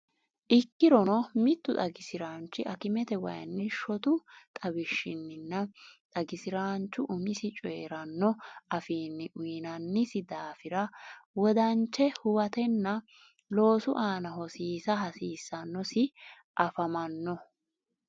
Ikkirono, mittu xagi siraanchi akimetewayinni shotu xawishshinninna xagisiraanchu umisi coyi’ranno afiinni uyinannisi daafira wodanche huwatanna loosu aana hosiisa hasiissannosi, afamanno?